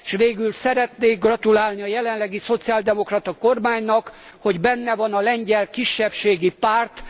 Végül szeretnék gratulálni a jelenlegi szociáldemokrata kormánynak, hogy benne van a lengyel kisebbségi párt.